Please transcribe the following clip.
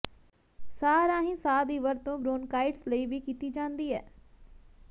ਸਾਹ ਰਾਹੀਂ ਸਾਹ ਦੀ ਵਰਤੋਂ ਬ੍ਰੌਨਕਾਇਟਿਸ ਲਈ ਵੀ ਕੀਤੀ ਜਾਂਦੀ ਹੈ